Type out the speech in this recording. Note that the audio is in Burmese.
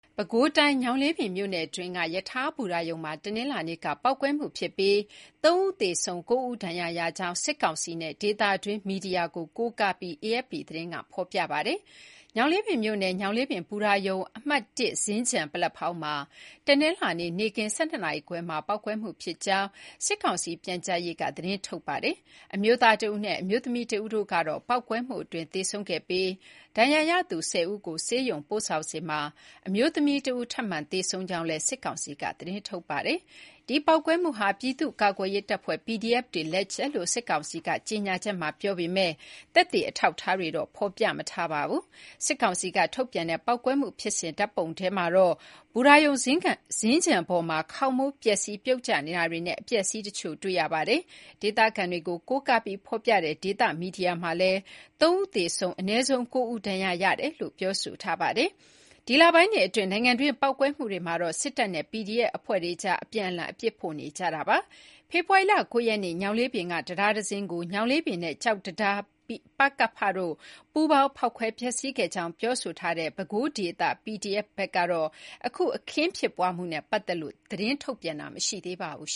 ပဲခူးတိုင်း ညောင်လေးပင်မြို့နယ်တွင်းက ရထားဘူတာရုံမှာ တနင်္လာနေ့က ပေါက်ကွဲမှု ဖြစ်ပြီး ၃ ဦး သေဆုံး၊ ၉ ဦး ဒဏ်ရာရကြောင်း စစ်ကောင်စီနဲ့ ဒေသတွင်းမီဒီယာကို ကိုးကားပြီး AFP သတင်းက ဖော်ပြပါတယ်။ ညောင်လေးပင်မြို့နယ် ညောင်လေးပင်ဘူတာရုံအမှတ် (၁) စြင်္ကန် ပလက်ဖောင်းမှာ တနင်္လာနေ့ နေ့ခင်း ၁၂ နာရီခွဲမှာ ပေါက်ကွဲမှုဖြစ်ကြောင်း စစ်ကောင်စီ ပြန်ကြားရေးက သတင်းထုတ်ပြန်ပါတယ်။ အမျိုးသားတဦးနဲ့ အမျိုးသမီးတဦးတို့ကတော့ ပေါက်ကွဲမှုအတွင်းသေဆုံးခဲ့ပြီး ဒဏ်ရာရသူ ၁၀ ဦးကို ဆေးရုံပို့ဆောင်စဉ်မှာ အမျိုးသမီးတဦး ထပ်မံသေဆုံးခဲ့ကြောင်းလည်း စစ်ကောင်စီက သတင်းထုတ်ပါတယ်။ ဒီပေါက်ကွဲမှုဟာ ပြည်သူ့ကာကွယ်ရေးတပ်ဖွဲ့ PDF တွေ လက်ချက်လို့ စစ်ကောင်စီက ကြေညာချက်မှာပြောဆိုထားပေမယ့် သက်သေအထောက်အထားတွေတော့ ဖော်ပြမထားပါဘူး။ စစ်ကောင်စီကထုတ်ပြန်ထားတဲ့ ပေါက်ကွဲမှုဖြစ်စဉ်ဓာတ်ပုံထဲမှာတော့ ဘူတာရုံ စြင်္ကန်ပေါ်မှာ ခေါင်မိုးပျက်စီးပြုတ်ကျနေတာတွေနဲ့ အပျက်အစီးတချို့ တွေ့ရပါတယ်။ ဒေသခံတွေကိုကိုးကားပြီးဖော်ပြထားတဲ့ ဒေသမီဒီယာမှာလည်း ၃ ဦး သေဆုံးပြီး အနည်းဆုံး ၉ ဦး ဒဏ်ရာရကြောင်း ဖော်ပြထားပါတယ်။ ဒီလပိုင်းတွေအတွင်း နိုင်ငံတွင်းပေါက်ကွဲမှုတွေမှာတော့ စစ်တပ်နဲ့ PDF အဖွဲ့တွေကြား အပြန်အလှန် အပြစ်ဖို့နေကြတာပါ။ ဖေဖော်ဝါရီလ ၉ ရက်နေ့ ညောင်လေးပင်ကတံတားတစင်းကို ညောင်လေးပင်နဲ့ ကျောက်တံခါး ပကဖ တို့ ပူးပေါင်းဖောက်ခွဲဖျက်စီးခဲ့ကြောင်းပြောဆိုထားတဲ့ ပဲခူးဒေသ PDF ဘက်ကတော့ အခု အခင်းဖြစ်ပွားမှုနဲ့ပတ်သက်လို့တော့ သတင်းထုတ်ပြန်တာမရှိသေးပါဘူး